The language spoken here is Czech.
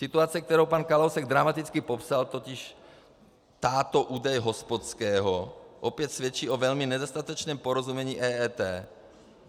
Situace, kterou pan Kalousek dramaticky popsal, totiž... táto údaje hospodského, opět svědčí o velmi nedostatečném porozumění EET.